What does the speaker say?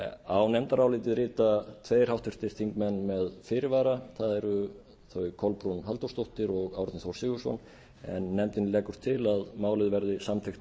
á nefndarálitið rita tveir háttvirtir þingmenn með fyrirvara það eru þau kolbrún halldórsdóttir og árni þór sigurðsson en nefndin leggur til að málið verði samþykkt